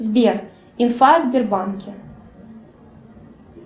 сбер инфа о сбербанке